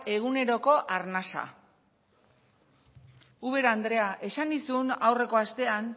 eguneroko arnasa ubera andrea esan nizun aurreko astean